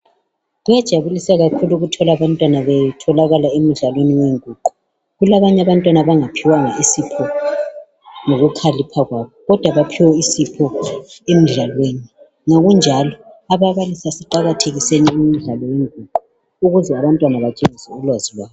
Kuyajabulisa ukutholakala abantwana bethu betholakala emidlalweni wenguqu. Kulabanye abantwana abangatholanga isipho sokukhalipha engqondweni kodwa emidlalweni we nguqu. Ababalisi asiqakathekiseni ukunika abantwana amathuba okudlala imidlalo yenguqu.